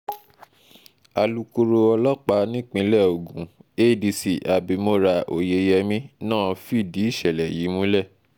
alūkkóró ọlọ́pàá nípìnlẹ̀ ogun adc abimora oyeyèmí náà fìdí ìṣẹ̀lẹ̀ yìí múlẹ̀